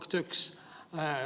Punkt üks.